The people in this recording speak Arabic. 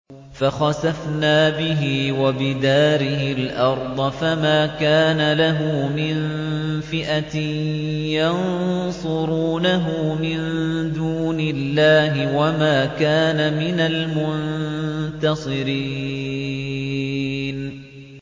فَخَسَفْنَا بِهِ وَبِدَارِهِ الْأَرْضَ فَمَا كَانَ لَهُ مِن فِئَةٍ يَنصُرُونَهُ مِن دُونِ اللَّهِ وَمَا كَانَ مِنَ الْمُنتَصِرِينَ